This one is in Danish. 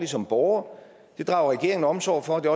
som borgere det drager regeringen omsorg for og det